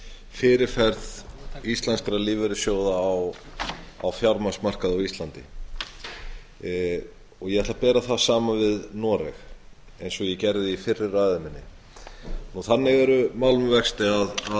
fyrirferð íslenskra lífeyrissjóða á fjármagnsmarkaði á íslandi og ég ætla að bera það saman við noreg eins og ég gerði í fyrri ræðu minni þannig er mál með vexti að